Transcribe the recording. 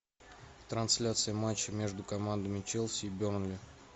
трансляция матча между командами челси и бернли